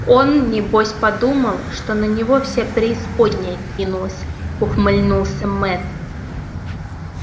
он небось подумал что на него вся преисподняя кинулась ухмыльнулся мэтт